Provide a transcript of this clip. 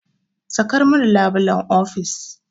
Sakar min labulen ofis!